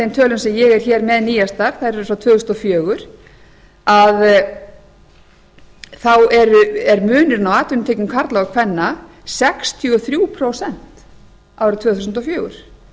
þeim tölum sem ég er hér með nýjastar þær eru frá tvö þúsund og fjögur að þá er munurinn á atvinnutekjum karla og kvenna sextíu og þrjú prósent árið tvö þúsund og fjögur